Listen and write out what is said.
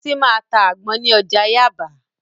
Bísí máa ta àgbọn ní ọjà Yáàbá